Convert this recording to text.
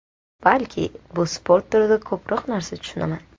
Balki, bu sport turida ko‘proq narsa tushunaman.